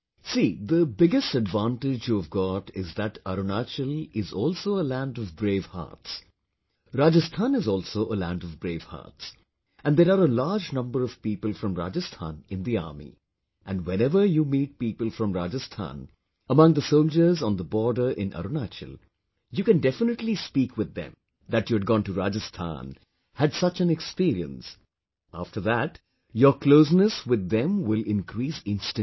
See, the biggest advantage you have got is thatArunachal is also a land of brave hearts, Rajasthan is also a land of brave hearts and there are a large number of people from Rajasthan in the army, and whenever you meet people from Rajasthan among the soldiers on the border in Arunachal, you can definitely speak with them, that you had gone to Rajasthan,... had such an experience...after that your closeness with them will increase instantly